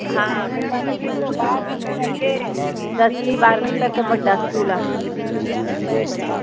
ਹਾਂ ਫਿਰ ਪੰਜਵੀ ਤੋਂ ਬਾਅਦ ਫਿਰ ਅੱਗੇ ਦਸਵੀ ਬਾਰਵੀ ਤਕ ਵੱਡਾ ਸਕੂਲ ਆ